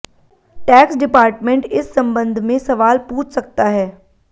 tax department इस संबंध में सवाल पूछ सकता है